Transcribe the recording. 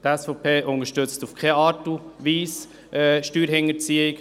Die SVP unterstützt in keiner Art und Weise Steuerhinterziehung.